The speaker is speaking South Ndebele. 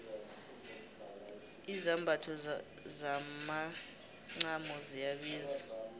izambatho zomacamo ziyabiza